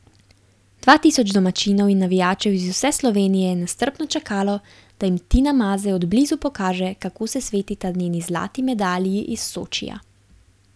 Dva tisoč domačinov in navijačev iz vse Slovenije je nestrpno čakalo, da jim Tina Maze od blizu pokaže, kako se svetita njeni zlati medalji iz Sočija.